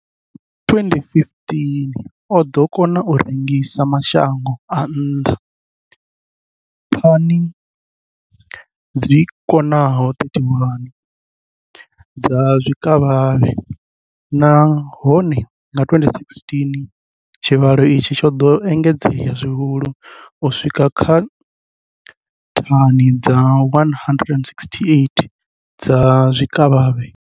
Nga 2015, o ḓo kona u rengisela mashango a nnḓa thani dzi swikaho 31 dza zwikavhavhe, nahone nga 2016 tshivhalo itshi tsho ḓo engedzea zwihulwane u swika kha thani dza 168 dza zwikavhavhe.